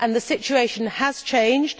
The situation has changed.